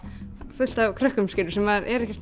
fullt af krökkum sem maður er ekki